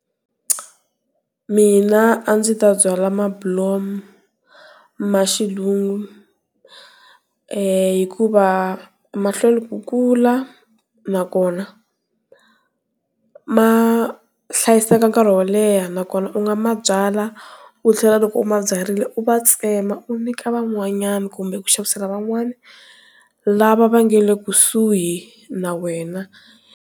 Mina a ndzi ta byala mabulomu ma xilungu hikuva mahlwela ku kula nakona ma hlayiseka nkarhi wo leha nakona u nga ma byala u tlhela loko u ma byarile u ma tsema u nyika van'wanyana kumbe ku xavisela van'wani lava va nga le kusuhi na wena.